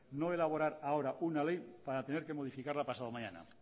no elaborar ahora una ley para tener que modificarla pasado mañana